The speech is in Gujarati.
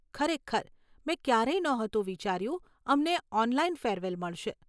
ખરેખર, મેં ક્યારેય નહોતું વિચાર્યું અમને ઓનલાઈન ફેરવેલ મળશે.